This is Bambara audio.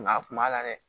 Nka a kun b'a la dɛ